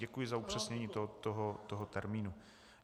Děkuji za upřesnění toho termínu.